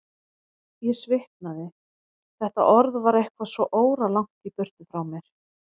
Ég svitnaði, þetta orð var eitthvað svo óralangt í burtu frá mér.